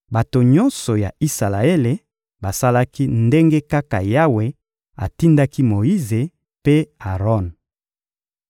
Bato nyonso ya Isalaele basalaki ndenge kaka Yawe atindaki Moyize mpe Aron.